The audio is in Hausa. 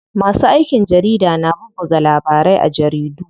Masu aikin jarida na bubbuga labarai a jaridu.